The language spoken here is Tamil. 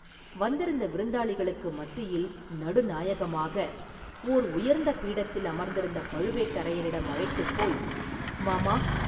வந்திருந்த விருந்தாளிகளுக்கு மத்தியில் நடுநாயகமாக ஓர் உயர்ந்த பீடத்தில் அமர்ந்திருந்த பழுவேட்டரையரிடம் அழைத்துப் போய், “மாமா!